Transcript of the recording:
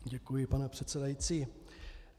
Děkuji, pane předsedající.